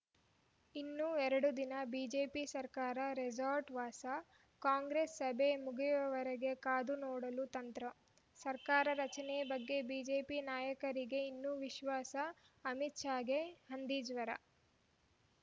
ಇನ್ನೂ ಎರಡು ದಿನ ಬಿಜೆಪಿ ಶಾಸಕರ ರೆಸಾರ್ಟ್‌ ವಾಸ ಕಾಂಗ್ರೆಸ್‌ ಸಭೆ ಮುಗಿವವರೆಗೆ ಕಾದು ನೋಡಲು ತಂತ್ರ ಸರ್ಕಾರ ರಚನೆ ಬಗ್ಗೆ ಬಿಜೆಪಿ ನಾಯಕರಿಗೆ ಇನ್ನೂ ವಿಶ್ವಾಸ ಅಮಿತ್‌ ಶಾಗೆ ಹಂದಿಜ್ವರ